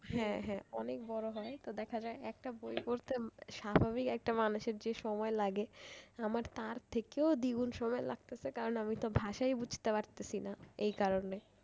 হ্যাঁ হ্যাঁ অনেক বড় হয় তো দেখা যায় একটা বই পড়তে স্বাভাবিক একটা মানুষের যে সময় লাগে আমার তার থেকেও দ্বিগুণ সময় লাগতেছে কারণ আমি তো ভাষাই বুঝতে পারতেছি না এই কারণে।